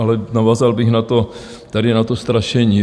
Ale navázal bych tady na to strašení.